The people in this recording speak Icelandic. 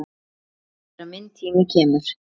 Sjáumst þegar minn tími kemur.